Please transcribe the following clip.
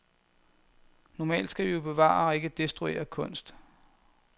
Normalt skal vi jo bevare og ikke destruere kunst.